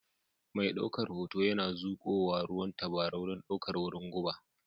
Mai daukar hoto yana zuƙowa ruwan tabarau don ɗaukar wurin guba